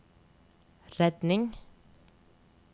redning